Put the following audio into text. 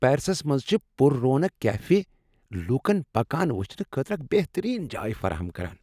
پیرسس منٛز چھ پُر رونق کیفے لوٗکن پکان وٕچھنہٕ خٲطرٕ اکھ بٮ۪ہترین جاۓ فراہم کران۔